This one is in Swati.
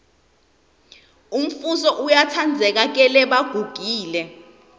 umfuso uyatsandzeka kelebagugile